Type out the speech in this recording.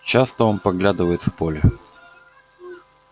часто он поглядывает в поле